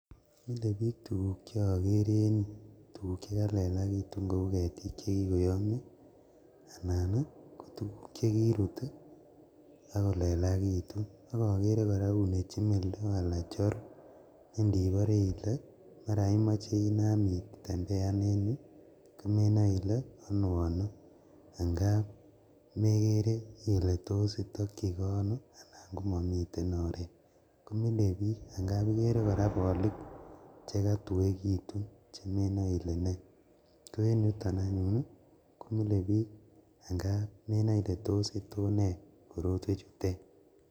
Mile bik tuguk cheagere en ireyu tuguk chekalelakitun Kou ketik chekikoyamia anan ko tuguk chekirut akolelakitu agere koraa kochimildo nendibare Ile koraa komaiche Inam itembeanenile ano ano ngab megere Ile tos itaki gei ano ngomamiten oret mile bik ngab igere koraa bolik chekatuegitun komenae Ile nei Koe en yuton anyun komie bik ngab menae Ile tos nee korotwek chuton